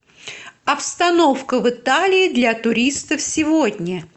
обстановка в италии для туристов сегодня